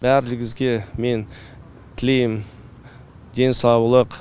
бәріңізге мен тілеймін денсаулық